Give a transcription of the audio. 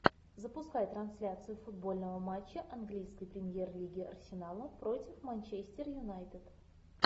запускай трансляцию футбольного матча английской премьер лиги арсенала против манчестер юнайтед